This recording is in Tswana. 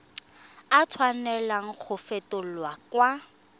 a tshwanela go fetolwa kwa